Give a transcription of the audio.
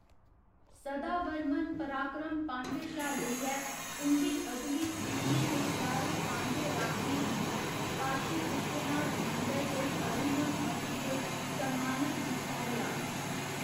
सदावर्मन पराक्रम पांड्य शा लेइयै उं'दी अगली पीढ़ियें दे सारे पांड्य राजें गी काशी विश्वनाथ मंदर दे अधीनम मठ च सम्मानत कीता गेआ।